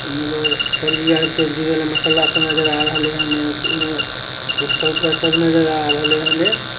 मसाला-उसला नजर आ रहल इनहे गुटका-वुटका सब नजर आ रहल इन्हें --